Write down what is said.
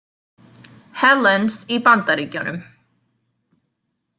Helens í Bandaríkjunum.